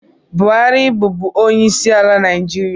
Buhari bụbụ onye isiala naijiria